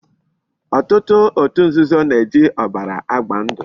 Otutu otu nzuzo na-eji obara agba ndu